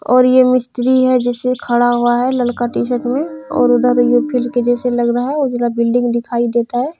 और ये मिस्री है जिससे खड़ा हुआ है लड़का टी-शर्ट में और इधर फिल्ड के जैसा लग रहा है उधर बिल्डिंग दिखाई देता है।